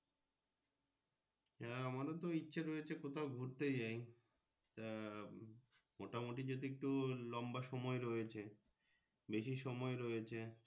হ্যাঁ আমারও তো ইচ্ছে রয়েছে কোথাও ঘুরতে যাই আহ মোটামুটি যদি একটু লম্বা সময় রয়েছে বেশি সময় রয়েছে।